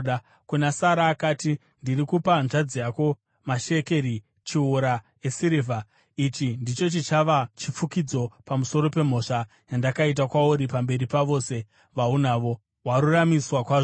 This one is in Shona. Kuna Sara akati, “Ndiri kupa hanzvadzi yako mashekeri chiuru esirivha. Ichi ndicho chichava chifukidzo pamusoro pemhosva yandakaita kwauri pamberi pavose vaunavo; waruramiswa kwazvo.”